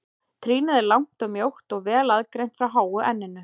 Trýnið er langt og mjótt og vel aðgreint frá háu enninu.